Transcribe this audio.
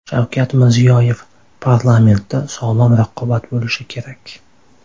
Shavkat Mirziyoyev: Parlamentda sog‘lom raqobat bo‘lishi kerak.